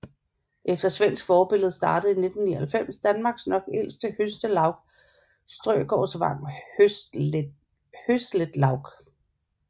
Efter svensk forbillede startede i 1999 Danmarks nok ældste høsletlaug Strøgårdsvang Høslætlaug